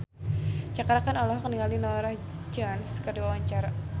Cakra Khan olohok ningali Norah Jones keur diwawancara